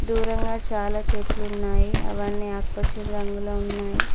దూరంగా చాలా చెట్లున్నాయి అవన్నీ ఆకుపచ్చని రంగులో ఉన్నాయ్.